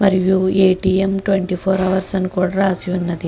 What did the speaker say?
మరియు ATM twenty four hours అని కూడా రాసి ఉంది.